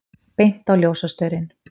Beint á ljósastaurinn!